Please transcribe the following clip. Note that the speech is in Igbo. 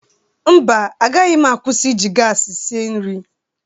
Mba, agaghị m akwụsi iji gaasị si nri.